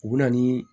U bɛ na ni